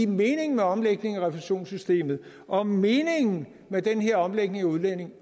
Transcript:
meningen med omlægningen af refusionssystemet og meningen med den her omlægning af udligningen